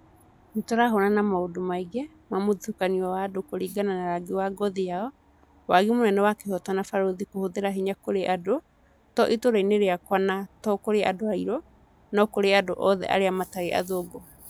Nĩ tũrahũũrana na maũndu maingĩ ma mũthutũkanio wa andũ kũringana na rangi wa ngothi yao, wagi mũnene wa kĩhooto na borithi kũhũthĩra hĩnya kũrĩ andũ, to ĩtũũra-inĩ rĩakwa na to kũrĩ andũ airũ, no nĩ kũrĩ andũ othe arĩa matarĩ athũngũ.